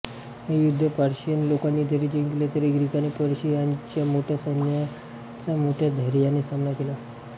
हे युद्ध पर्शियन लोकांनी जरी जिंकले तरी ग्रीकांनी पर्शियाच्या मोठ्या सैन्याचा मोठ्या धैर्याने सामना केला